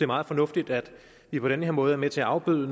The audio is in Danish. meget fornuftigt at vi på den her måde er med til at afbøde